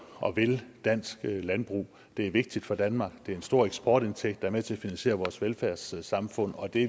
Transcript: og vil dansk landbrug det er vigtigt for danmark det er en stor eksportindtægt der er med til at finansiere vores velfærdssamfund og det